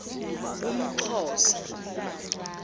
umxhosa